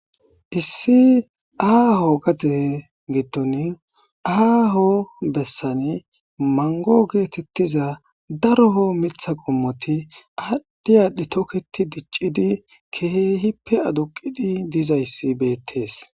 issi aaho gade giddon aaho bessani mango geetettiza daroo mitha qommoti aaddhi aadhi tokketi diccidi kehehippe aduqidi dizayssi beettees